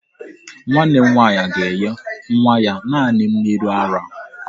Nwanne m nwaanyị ga-enye nwa ya naanị mmiri ara.